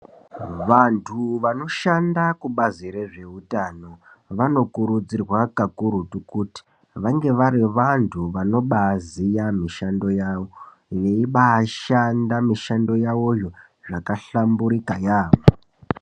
Vantu vanoshanda kubazi rezveutano , vanokurudzirwa kakurutu kuti vange vari vanhu vanobaaziya mishando yavo, veibaashanda mishando yavoyo, zvakahlamburika yaamho.